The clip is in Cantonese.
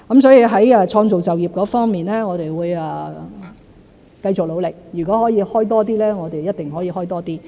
在創造就業方面，我們會繼續努力，如果可以開多些職位，我們一定會開多些。